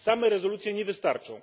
Same rezolucję nie wystarczą.